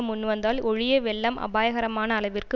முன் வந்தால் ஒழிய வெள்ளம் அபாயகரமான அளவிற்கு